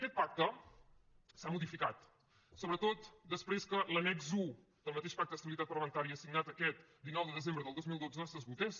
aquest pacte s’ha modificat sobretot després que l’annex un del mateix pacte d’estabilitat parlamentària signat aquest dinou de desembre del dos mil dotze s’esgotés